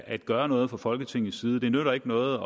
at gøre noget fra folketingets side det nytter ikke noget